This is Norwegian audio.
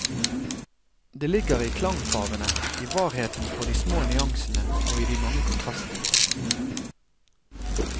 Det ligger i klangfarvene, i varheten for de små nyansene og i de mange kontrastene.